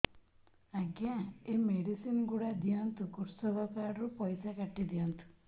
ଆଜ୍ଞା ଏ ମେଡିସିନ ଗୁଡା ଦିଅନ୍ତୁ କୃଷକ କାର୍ଡ ରୁ ପଇସା କାଟିଦିଅନ୍ତୁ